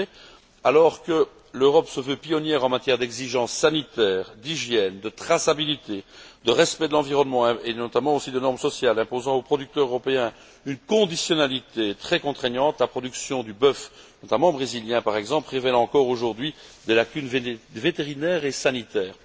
En effet, alors que l'Europe se veut pionnière en matière d'exigences sanitaires, d'hygiène, de traçabilité, de respect de l'environnement et, notamment aussi, de normes sociales, imposant aux producteurs européens une conditionnalité très contraignante, la production du bœuf notamment brésilien, par exemple révèle encore aujourd'hui des lacunes vétérinaires et sanitaires.